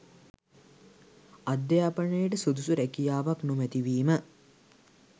අධ්‍යාපනයට සුදුසු රැකියාවක් නොමැති වීම